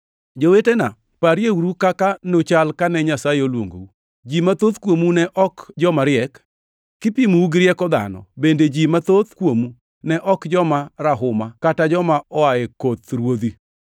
Jowetena, parieuru kaka nuchal kane Nyasaye oluongou. Ji mathoth kuomu ne ok joma riek, kipimou gi rieko dhano, bende ji mathoth kuomu ne ok joma rahuma kata joma oa e koth ruodhi.